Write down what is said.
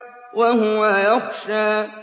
وَهُوَ يَخْشَىٰ